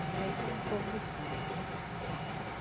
Mas vê que é um pouco distante.